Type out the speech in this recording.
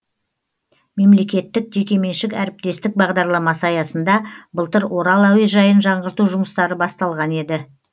мемлекеттік жекеменшік әріптестік бағдарламасы аясында былтыр орал әуежайын жаңғырту жұмыстары басталған еді